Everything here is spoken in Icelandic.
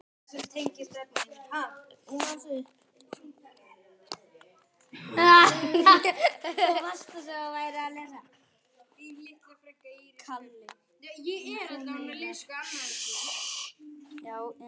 Frú er Herrans móðir skær.